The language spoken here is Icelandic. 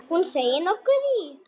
Hún seig nokkuð í.